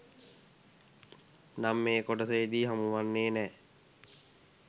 නම් මේ කොටසෙදි හමුවෙන්නේ නෑ.